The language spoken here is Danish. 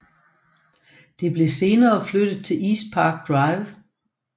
Det blev senere flyttet til East Park Drive